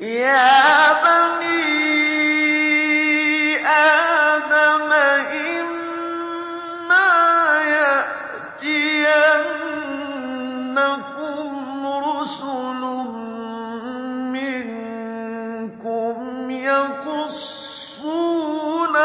يَا بَنِي آدَمَ إِمَّا يَأْتِيَنَّكُمْ رُسُلٌ مِّنكُمْ يَقُصُّونَ